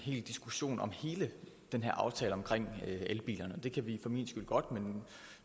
en diskussion af hele den her aftale om elbilerne det kan vi for min skyld godt men